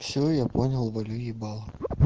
всё я понял валю ебало